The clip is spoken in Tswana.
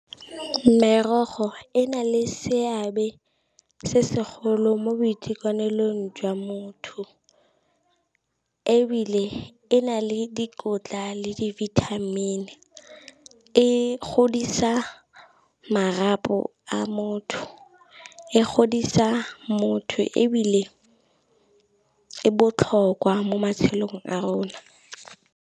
Merogo e na le seabe se segolo mo boitekanelong jwa motho, ebile e na le dikotla le di-vitamin, e godisa marapo a motho, e godisa motho ebile e botlhokwa mo matshelong a rona.